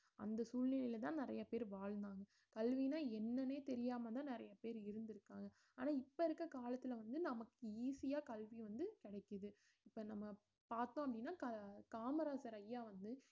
அந்த சூழ்நிலையில தான் நிறைய பேர் வாழ்ந்தாங்க கல்வின்னா என்னன்னே தெரியாமதான் நிறைய பேர் இருந்திருக்காங்க ஆனா இப்ப இருக்க காலத்துல வந்து நமக்கு easy ஆ கல்வி வந்து கிடைக்குது இப்ப நம்ம பாத்தோம் அப்படின்னா கா~ காமராசர் ஐயா வந்து